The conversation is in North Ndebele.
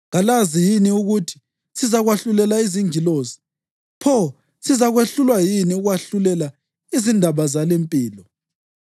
Kalazi yini ukuthi sizakwahlulela izingilosi? Pho sizakwehlulwa yini ukwahlulela izindaba zalimpilo!